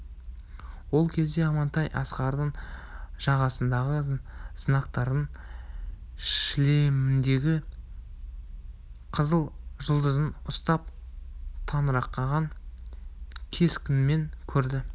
ол кезде амантай асқардың жағасындағы знактарын шлеміндегі қызыл жұлдызын ұстап таңырқанған кескінмен көрді